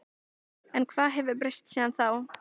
En hvað hefur breyst síðan þá?